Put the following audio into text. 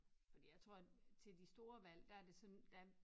Fordi jeg tror at til de store valg der er det sådan der